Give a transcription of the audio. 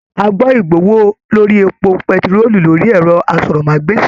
A gbọ igbowó lórí èpo pẹ̀tiroo lórí ẹrọ àsọ̀rọ̀mágbèsi.